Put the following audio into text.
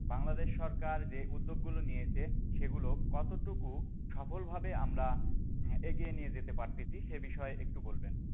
বাংলাদেশ সরকার যে উদ্যোগ গুলো নিয়েছে সেগুলো কতটুকু সফল ভাবে আমরা এগিয়ে নিয়ে যেতে পারতেছি সে বিষয়ে একটু বলবেন,